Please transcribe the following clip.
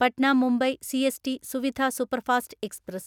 Patna Mumbai CST Suvidha superfast express